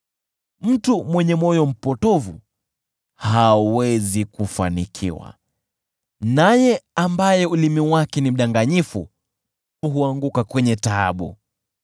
Mtu mwenye moyo mpotovu hawezi kufanikiwa; naye ambaye ulimi wake ni mdanganyifu huanguka kwenye taabu.